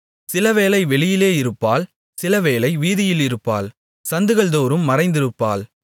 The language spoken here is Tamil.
சிலவேளை வெளியிலே இருப்பாள் சிலவேளை வீதியில் இருப்பாள் சந்துகள்தோறும் மறைந்திருப்பாள்